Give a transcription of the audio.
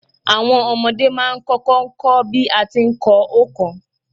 Àwon omodé má a n kókó ko bí a ti n ko óòkan